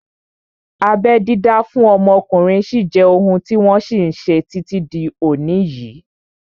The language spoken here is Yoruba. Abẹ́ dídá fún ọmọkùnrin sí jẹ́ ohun tí wọ́n ṣe títí di òní yìí